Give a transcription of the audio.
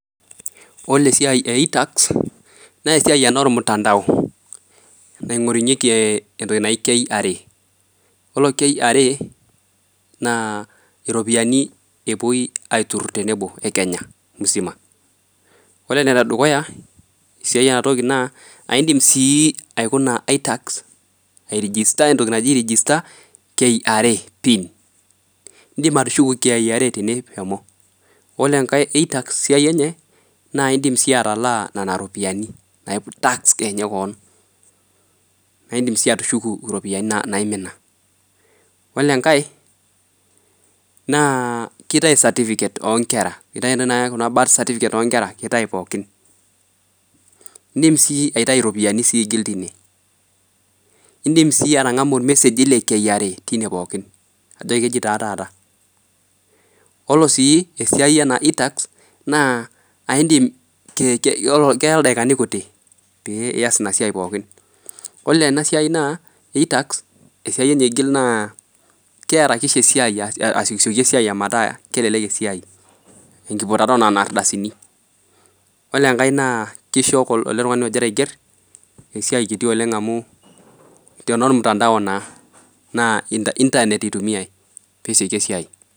Ore esiai e itax naa esiai ana olmutandao naing'orunyeki entoki naji KRA. Iyolo KRA naa iropiyiani epoi aiturrur tenebo ekenya musima. Ore enedukuya siai enatoki naa indim sii aikuna itax airegister entoki naji register KRA PIN. Indim atushuko KRA tene. Ore enkae e itax siai enye naa indim sii atalaa nena iropiyiani naa piintax kenya keon. Naa indim sii atushuku iropiyiani naimina. Ore enkae naa keitai certificate oonkera. Keitai taata kuna [cs[birth certificates oonkera keitai pookin. Indim sii aitai iropiyiani sii imitiiine. Indim sii atang'amu ilmeseji le KRA teine pooki, ajo kejotaa taata. Ore sii esiai ena itax naa aindim, keya ildakikani kutii pee iyas ina siai pookin. Kore ena siai naa e itax esiai enye aigil naa kearakisha esiai asioki esiai omataa kelelek esiai enkiputata oo nena ardasini. Ore enkae naa keisdho ale tungani ogira aiger esiai kiti oleng amuu te nolmutandao naa, naaa internet eitumia pesioki esiai.